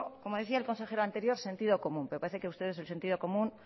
como decía el consejero anterior sentido común pero parece que ustedes el sentido común